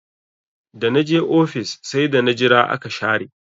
Da na je ofis sai da na jira aka share